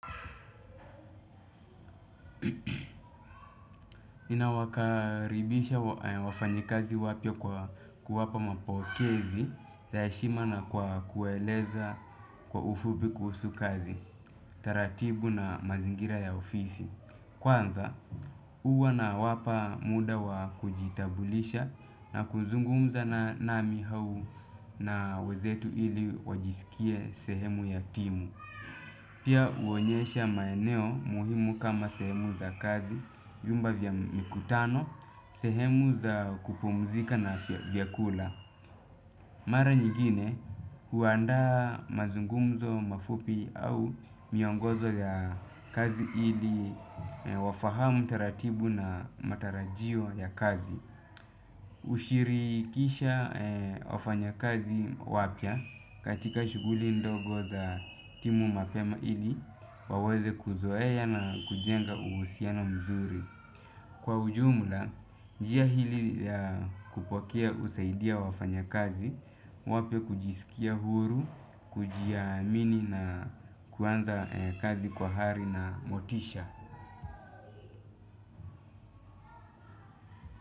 Nawakaribisha wafanyikazi wapya kwa kuwapa mapokezi za heshima na kwa kueleza kwa ufupi kuhusu kazi. Taratibu na mazingira ya ofisi. Kwanza huwa nawapa muda wa kujitambulisha na kuzungumza nami au na wenzetu ili wajisikie sehemu ya timu. Pia huonyesha maeneo muhimu kama sehemu za kazi, vyumba vya mkutano, sehemu za kupumzika na vyakula. Mara nyingine, huandaa mazungumzo mafupi au miongozo ya kazi ili wafahamu taratibu na matarajio ya kazi. Hushirikisha wafanyakazi wapya katika shughuli ndogo za timu mapema ili waweze kuzoea na kujenga uhusiano mzuri. Kwa ujumla, njia hii ya kupokea husaidia wafanyakazi wapya kujisikia huru, kujiamini na kuanza kazi kwa hari na motisha.